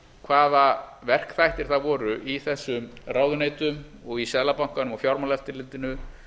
hvaða verkþættir það voru í þessum ráðuneytum og í seðlabankanum og í fjármálaeftirlitinu